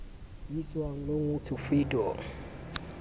bitswang long walk to freedom